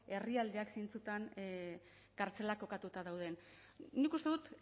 herrialdeak zeintzutan kartzelak kokatuta dauden nik uste dut